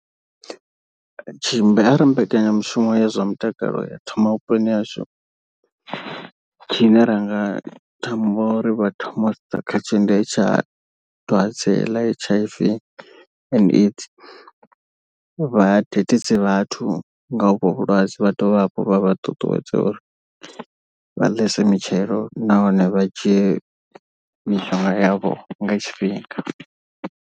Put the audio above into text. Tshimbi arali mbekanyamushumo ya zwa mutakalo ya thoma vhuponi hashu, tshine ra nga themba uri vha thoma u sedza khatsho ndi phetsha dwadze ḽa H_I_V and AIDS. Vhadededze vhathu nga honovho vhulwadze vha dovhe hafhu vha vha ṱuṱuwedze uri vha ḽese mitshelo nahone vha dzhie mishonga yavho nga tshifhinga.